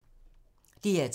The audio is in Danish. DR2